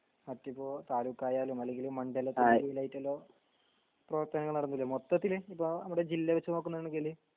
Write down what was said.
മറ്റിപ്പോ താലൂക്ക് ആയാലും അല്ലെങ്കിൽ മണ്ഡലത്തിന്റെ കീഴിലായിട്ടേലോ പ്രവർത്തനങ്ങൾ നടന്നില്ലേ മൊത്തത്തിൽ നിപ്പോ നമ്മടെ ജില്ല വെച്ച് നോക്കുന്നാണെങ്കിൽ